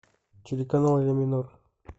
телеканал ля минор